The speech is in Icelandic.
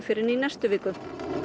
fyrr en í næstu viku